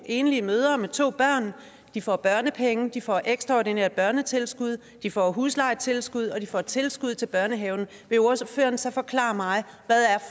enlige mødre med to børn de får børnepenge de får ekstraordinært børnetilskud de får huslejetilskud og de får tilskud til børnehave vil ordføreren så forklare mig hvad